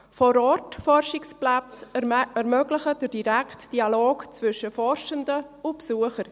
Vor-Ort-Forschungsplätze ermöglichen den direkten Dialog zwischen Forschenden und Besuchern.